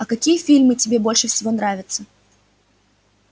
а какие фильмы тебе больше всего нравятся